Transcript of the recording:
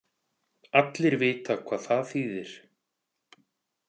Allir vita hvað það þýðir.